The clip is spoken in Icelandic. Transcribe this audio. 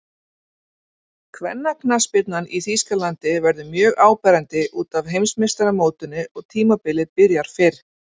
Kvennaknattspyrnan í Þýskalandi verður mjög áberandi útaf Heimsmeistaramótinu og tímabilið byrjar fyrr.